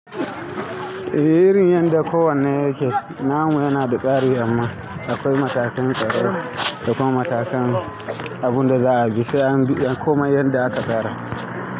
Eh irin yanda ko wanne yake. Namu yana da tsari amma akwai matakan tsaro da kuma matakan abun da za a bi sai an bi, an kumai yadda aka fara.